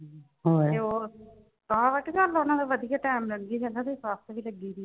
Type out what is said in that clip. ਤੇ ਹੋਰ ਆਹੋ ਵੱਟ ਕੇ ਉਨ੍ਹਾਂ ਦਾ ਵਧੀਆ time ਲੰਘੀ ਜਾਂਦਾ। ਉਹਦੀ ਸੱਸ ਵੀ ਲੱਗੀ ਹੋਈ ਐ।